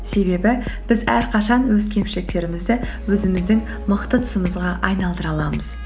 себебі біз әрқашан өз кемшіліктерімізді өзіміздің мықты тұсымызға айналдыра аламыз